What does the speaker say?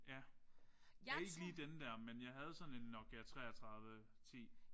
Ja. Ikke lige den der men jeg havde sådan en Nokia 33 10